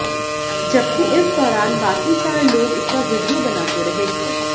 जबकि इस दौरान बाकि चार लोग इसका वीडिया बनाते रहे